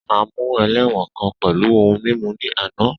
A mu ẹlẹ́wọ̀n kan pẹlu ohun mimu ni ana.